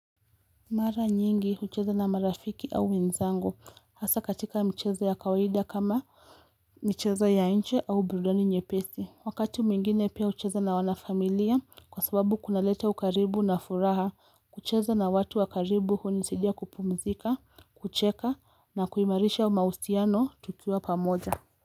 Mara nyingi hucheza na marafiki au wenzangu hasa katika michezo ya kawaida kama michezo ya nje au burudani nyepesi. Wakati mwingine pia hucheza na wanafamilia kwa sababu kunaleta ukaribu na furaha. Kucheza na watu wa karibu hunisaidia kupumzika, kucheka na kuimarisha mahusiano tukiwa pamoja.